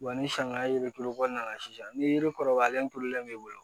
Wa ni sanga yiri tulu kɔnɔna na sisan ni yiri kɔrɔbayalen tulonlen b'i bolo